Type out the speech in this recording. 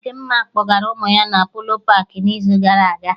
Dịmma kpọgara ụmụ ya Polo paakị n'izu gara aga